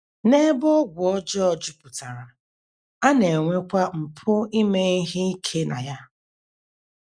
N’ebe ọgwụ ọjọọ jupụtara, a na - enwekwa mpụ ime ihe ike na ya.